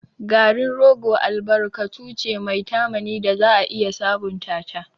Garin rogo albarkatu ce mai tamani da za a iya sabunta ta.